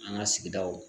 An ka sigidaw